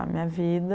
A minha vida...